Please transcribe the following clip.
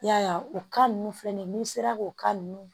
I y'a ye o kan ninnu filɛ nin sera k'o ka ninnu